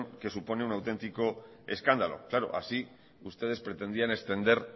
que supone un auténtico escándalo claro así ustedes pretendían extender